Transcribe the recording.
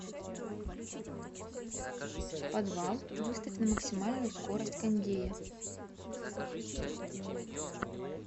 подвал выставь на максимальную скорость кондея